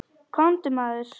Komdu, maður.